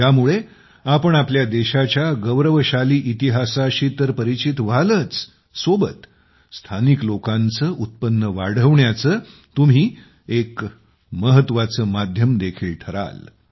यामुळे आपण आपल्या देशाच्या गौरवशाली इतिहासाशी तर परिचित व्हालच सोबत स्थानिक लोकांचं उत्पन्न वाढवण्याचं तुम्ही एक महत्त्वाचं माध्यम देखील ठराल